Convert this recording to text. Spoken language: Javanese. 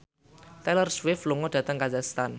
Taylor Swift lunga dhateng kazakhstan